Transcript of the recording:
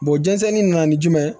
jɛnsɛnni nana ni jumɛn ye